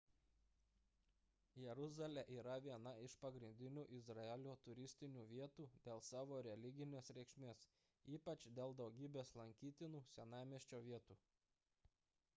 jeruzalė yra viena iš pagrindinių izraelio turistinių vietų dėl savo religinės reikšmės ypač dėl daugybės lankytinų senamiesčio vietų